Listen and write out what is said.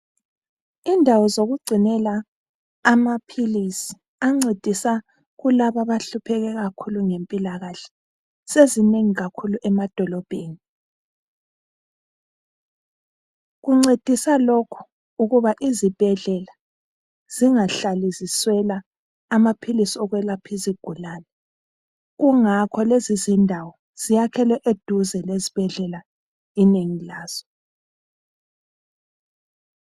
Indawo zokugcinela amaphilisi ancedisa kulaba abahlupheke kakhulu ngempilakahle sezinengi kakhulu emadolobheni. Kuncedisa lokhu ukuba izibhedlela zingahlali ziswela amaphilisi okwelapha izigulane. Kungakho lezizindawo zakhelwe eduze kwezibhedlela inengi lazo.